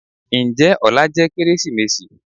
njẹ òlá jẹ Kérésímèsí?